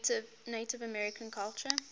native american culture